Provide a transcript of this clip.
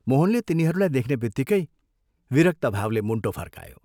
मोहनले तिनीहरूलाई देख्नेबित्तिकै विरक्त भावले मुण्टो फर्कायो।